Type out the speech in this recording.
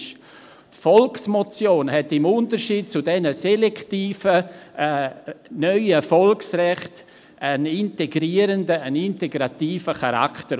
Die Volksmotion hat im Unterschied zu diesen selektiven neuen Volksrechten einen integrativen Charakter.